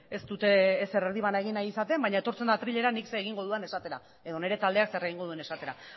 ez dute ezer erdibana egin nahi izaten baina etortzen da atrilera nik zer egingo dudan esatera edo nire taldeak zer egingo duen esatera